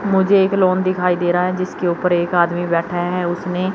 मुझे एक लॉन दिखाई दे रहा है जिसके ऊपर एक आदमी बैठा है उसने--